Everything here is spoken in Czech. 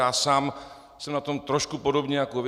Já sám jsem na tom trošku podobně jako vy.